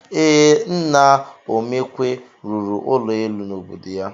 Ee, Nna Omekwe rụrụ ụlọ elu n'obodo ya.